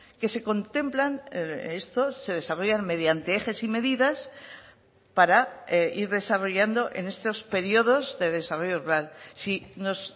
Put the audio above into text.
que se contemplan estos se desarrollan mediante ejes y medidas para ir desarrollando en estos periodos de desarrollo rural si nos